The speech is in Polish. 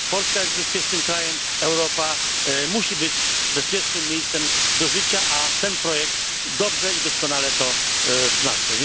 Polska jest bezpiecznym krajem, Europa musi być bezpiecznym miejscem do życia, a ten projekt dobrze i doskonale to wzmacnia.